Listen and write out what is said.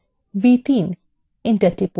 enter টিপুন